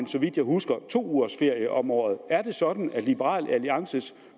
så vidt jeg husker to ugers ferie om året er det sådan at liberal aliances